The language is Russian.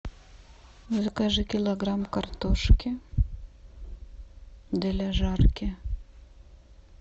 закажи килограмм картошки для жарки